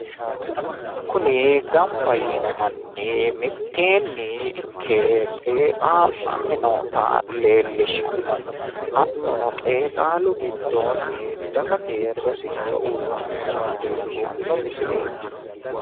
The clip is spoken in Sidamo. Kuni gamba yiinno manni qeexxalunni gamba yiinnottanna babbaxxitinotta rosicho aanore qeexxalunni leelishanni nootta xawissano misileeti